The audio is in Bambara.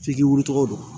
F'i k'i wulicogo don